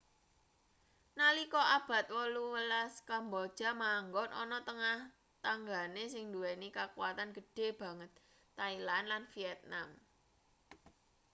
nalika abad 18 kamboja manggon ana tengah tanggane sing nduweni kakuwatan gedhe banget thailand lan vietnam